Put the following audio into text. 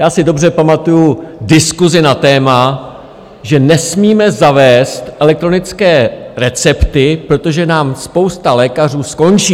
Já si dobře pamatuji diskusi na téma, že nesmíme zavést elektronické recepty, protože nám spousta lékařů skončí.